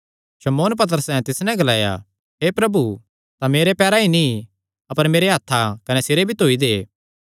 शमौन पतरसैं तिस नैं ग्लाया हे प्रभु तां मेरे पैर ई नीं अपर मेरेयां हत्थां कने सिरे भी धोई दे